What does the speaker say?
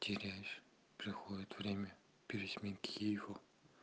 теряешь приходит время пересменки его